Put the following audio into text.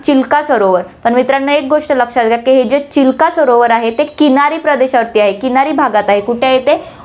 चिल्का सरोवर, तर मित्रांनो एक गोष्ट लक्षात घ्या, की हे जे चिल्का सरोवर आहे, ते किनारी प्रदेशावरती आहे, किनारी भागात आहे कुठे आहे, ते